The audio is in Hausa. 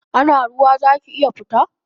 Ana ruwa zaki iya fita?